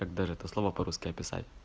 так даже это слово по русски описать